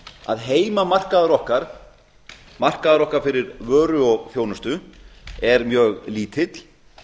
að heimamarkaður okkar markaður okkar fyrir vöru og þjónustu er mjög lítill